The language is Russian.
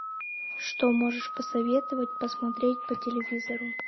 что можешь посоветовать посмотреть по телевизору